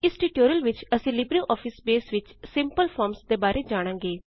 ਇਸ ਟਯੂਟੋਰਿਯਲ ਵਿਚ ਅਸੀ ਲਿਬਰੇਆਫਿਸ ਬੇਸ ਵਿਚ ਸਿੰਪਲ ਫਾਰਮਜ਼ ਦੇ ਬਾਰੇ ਜਾਣਾਂਗੇ